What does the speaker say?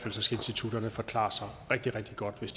institutterne forklare sig rigtig rigtig godt hvis